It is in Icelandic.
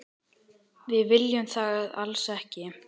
Við viljum það alls ekki.